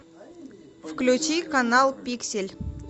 включи канал пиксель